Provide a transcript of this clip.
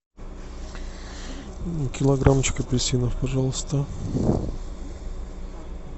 килограммчик апельсинов пожалуйста